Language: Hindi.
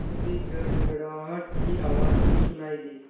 तभी गड़गड़ाहट की आवाज़ भी सुनाई दी